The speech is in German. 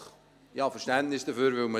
Ich habe Verständnis dafür, weil man …